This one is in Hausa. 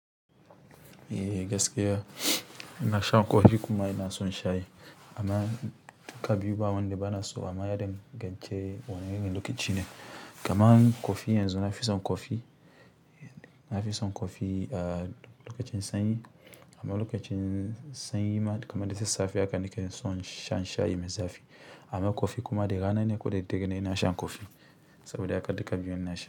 Eeh gaskiya ina shan kofi kuma ina son shayi. Amma duka biyu ba wanda bana so amma ya dangance wane irin lokaci ne. Kaman kofi yanzu na fi son kofi, na fi son kofi a lokacin sanyi amma lokacin sanyi ma kamar da sassafe haka nake son shan shayi mai zafi. Amma kofi kuma da rana ne koda daidai na sha kofi saboda haka duka biyun na sha.